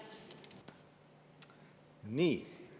Nii.